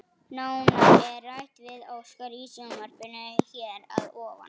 Nánar er rætt við Óskar í sjónvarpinu hér að ofan.